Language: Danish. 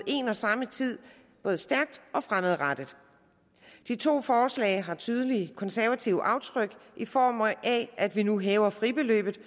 en og samme tid både stærke og fremadrettede de to forslag har tydelige konservative aftryk i form af at vi nu hæver fribeløbet